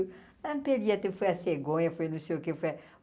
foi a cegonha, foi não sei o que foi a.